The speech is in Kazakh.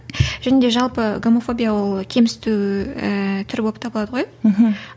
және де жалпы гомофобия ол кемсіту ііі түрі болып табылады ғой мхм